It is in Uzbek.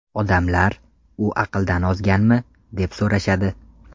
Odamlar ‘U aqldan ozganmi?’ deb so‘rashadi.